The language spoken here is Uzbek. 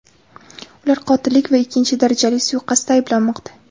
Ular qotillik va ikkinchi darajali suiqasdda ayblanmoqda.